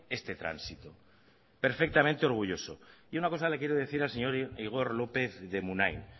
este tránsito perfectamente orgulloso y una cosa le quiero decir al señor igor lópez de munain